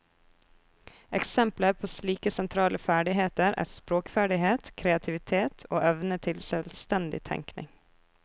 Eksempler på slike sentrale ferdigheter er språkferdighet, kreativitet og evne til selvstendig tenkning.